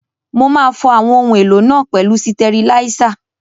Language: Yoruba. Mo máa fọ àwọn ohun èlò náà pẹ̀lú sitẹriláísà